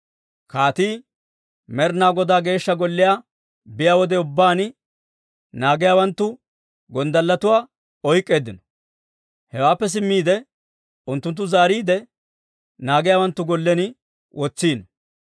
Kaatii Med'inaa Godaa Geeshsha Golliyaa biyaa wode ubbaan, naagiyaawanttu gonddalletuwaa oyk'k'eeddino. Hewaappe simmiide unttunttu zaariide, naagiyaawanttu gollen wotsiino.